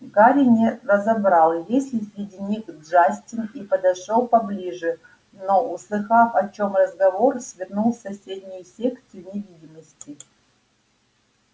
гарри не разобрал есть ли среди них джастин и подошёл поближе но услыхав о чём разговор свернул в соседнюю секцию невидимости